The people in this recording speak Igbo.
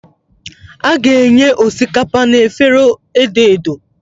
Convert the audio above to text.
A ga-enye osikapa na efere edo edo.